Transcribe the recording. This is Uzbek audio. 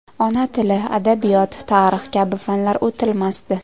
Ona tili, adabiyot, tarix kabi fanlar o‘tilmasdi.